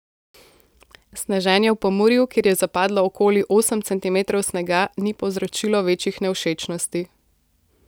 Sneženje v Pomurju, kjer je zapadlo okoli osem centimetrov snega, ni povzročilo večjih nevšečnosti.